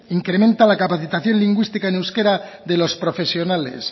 incrementa la capacitación lingüística en euskera de los profesionales